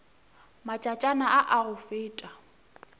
matšatšana a a go feta